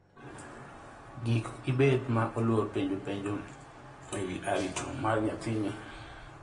Gik ibed ma oluor penjo penjo e wi arito mar nyathini